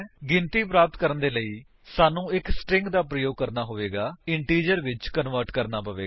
ਗਿਣਤੀ ਪ੍ਰਾਪਤ ਕਰਨ ਦੇ ਲਈ ਸਾਨੂੰ ਇੱਕ ਸਟਰਿੰਗ ਦਾ ਪ੍ਰਯੋਗ ਕਰਨਾ ਹੋਵੇਗਾ ਅਤੇ ਇਸਨੂੰ ਇੰਟੀਜਰ ਵਿੱਚ ਕਨਵਰਟ ਕਰਨਾ ਹੋਵੇਗਾ